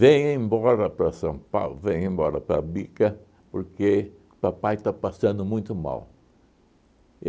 Vem embora para São Paulo, vem embora para Bica, porque o papai está passando muito mal.